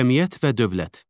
Cəmiyyət və dövlət.